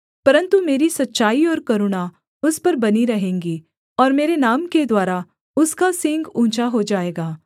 परन्तु मेरी सच्चाई और करुणा उस पर बनी रहेंगी और मेरे नाम के द्वारा उसका सींग ऊँचा हो जाएगा